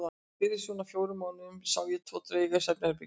Fyrir svona fjórum mánuðum sá ég tvo drauga í svefnherberginu mínu.